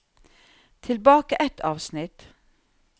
Tilbake ett avsnitt